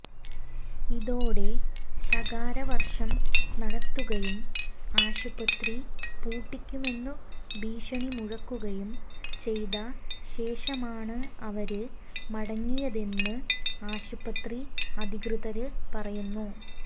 ഇതോടെ ശകാരവര്ഷം നടത്തുകയും ആശുപത്രി പൂട്ടിക്കുമെന്നു ഭീഷണി മുഴക്കുകയും ചെയ്ത ശേഷമാണ് അവര് മടങ്ങിയതെന്ന് ആശുപത്രി അധികൃതര് പറയുന്നു